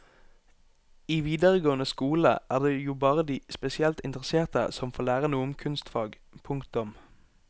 I videregående skole er det jo bare de spesielt interesserte som får lære noe om kunstfag. punktum